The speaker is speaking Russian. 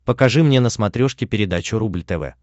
покажи мне на смотрешке передачу рубль тв